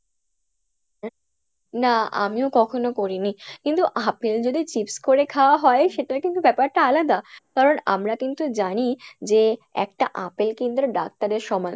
না আমিও কখনো করিনি, কিন্তু আপেল যদি chips করে খাওয়া হয় , সেটার কিন্তু ব্যপার টা আলাদা কারন আমরা কিন্তু জানি যে একটা আপেল কিন্তু একটা ডাক্তার এর সমান,